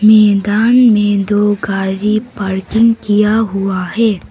मैदान में दो गाड़ी पार्किंग किया हुआ है।